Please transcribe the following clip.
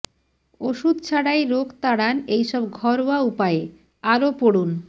ওষুধ ছাড়াই রোগ তাড়ান এই সব ঘরোয়া উপায়ে আরও পড়ুন